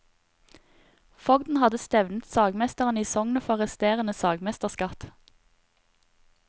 Fogden hadde stevnet sagmesterene i sognet for resterende sagmesterskatt.